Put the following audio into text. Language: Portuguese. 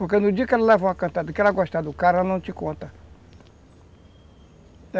Porque no dia que ela levar uma cantada, que ela gostar do cara, ela não te conta.